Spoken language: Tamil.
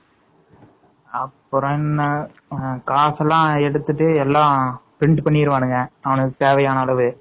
அப்பறம் காசு எல்லாம் எடுத்துட்டு எல்லாம் print பண்ணிருவானுங்க அவங்களுக்கு தேவையான அளவு